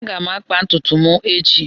Aga m akba ntutu m echi.